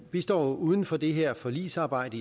står uden for det her forligsarbejde